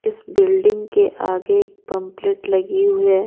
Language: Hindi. इस बिल्डिंग के आगे एक पंपलेट लगी हुई है।